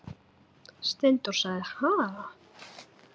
Steindór sagði: Ha?